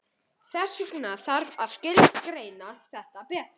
Þess vegna þarf að skilgreina þetta betur.